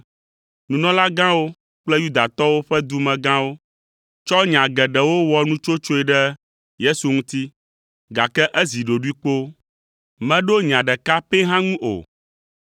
Nunɔlagãwo kple Yudatɔwo ƒe dumegãwo tsɔ nya geɖewo wɔ nutsotsoe ɖe Yesu ŋuti, gake ezi ɖoɖoe kpoo. Meɖo nya ɖeka pɛ hã ŋu o.